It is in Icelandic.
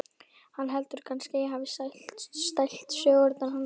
Hann heldur kannski að ég hafi stælt sögurnar hennar.